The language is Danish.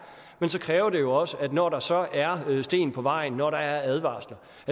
men så kræver det også at de når der så er sten på vejen når der er advarsler